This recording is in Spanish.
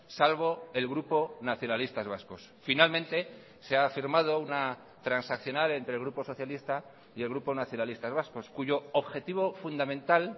salvo el grupo nacionalistas vascos finalmente se ha firmado una transaccional entre el grupo socialista y el grupo nacionalistas vascos cuyo objetivo fundamental